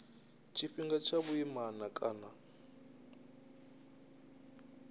tshifhinga tsha vhuimana na kana